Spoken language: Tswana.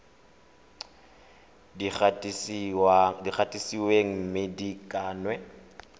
di gatisitsweng mme di kannwe